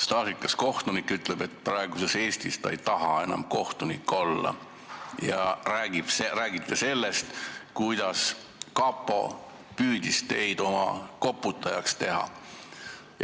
Staažikas kohtunik ütleb, et praeguses Eestis ei taha ta enam kohtunik olla, ja räägib sellest, kuidas kapo püüdis teda oma koputajaks teha.